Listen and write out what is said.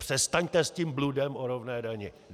Přestaňte s tím bludem o rovné dani.